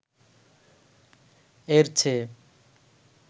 এর চেয়ে